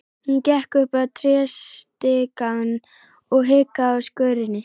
Hún gekk upp tréstigann og hikaði á skörinni.